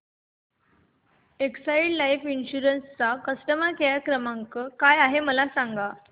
Exide life insurance चा customer care क्रमांक काय आहे मला सांगा